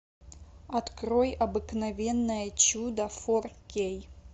открой обыкновенное чудо фор кей